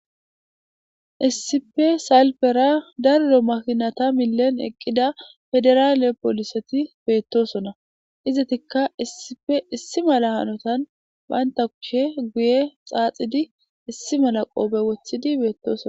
Issipe salfera daro makinata milen eqida pediral poliseti betosona izetika issipe issi mala hanotan banta kushe guye xaxidi issi mala qofe wothidi betosona